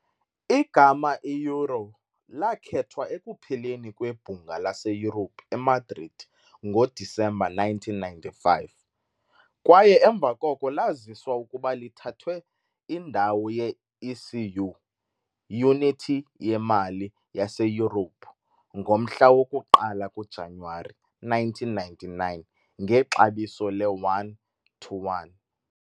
Igama i- "euro" lakhethwa ekupheleni kweBhunga laseYurophu eMadrid ngoDisemba 1995, kwaye emva koko laziswa ukuba lithathwe indawo ye- ECU, "iYunithi yeMali" yaseYurophu, ngomhla woku-1 kuJanuwari 1999 ngexabiso le-1 - 1.